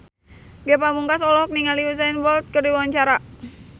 Ge Pamungkas olohok ningali Usain Bolt keur diwawancara